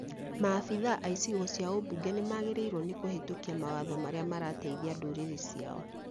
Maabitha a icigo cia ũmbunge nĩmagĩrĩirwo nĩ kũhĩtukia mawatho marĩa marateithia ndũrĩrĩ ciao